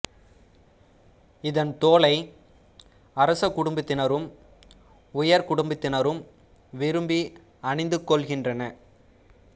இதன் தோலை அரச குடும்பத்தினரும் உயர் குடும்பத்தினரும் விரும்பி அணிந்து கொள்கின்றனர்